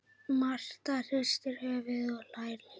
Marta hristir höfuðið og hlær líka.